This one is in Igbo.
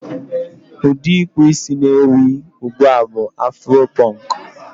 Ụdị ịkpụ isí na-ewi ugbu a bụ afuro pọnk.